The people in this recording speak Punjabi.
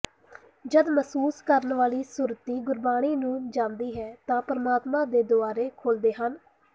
ਜਦ ਮਹਿਸੂਸ ਕਰਨ ਵਾਲੀ ਸੁਰਤੀ ਗੁਰਬਾਣੀ ਨੂੰ ਜਾਣਦੀ ਹੈ ਤਾਂ ਪਰਮਾਤਮਾ ਦੇ ਦਵਾਰੇ ਖੁਲ੍ਹਦੇ ਹਨ